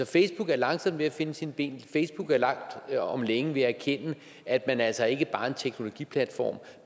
facebook er langsomt ved at finde sine ben facebook er langt om længe ved at erkende at man altså ikke bare er en teknologiplatform